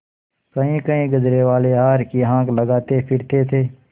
कहींकहीं गजरेवाले हार की हाँक लगाते फिरते थे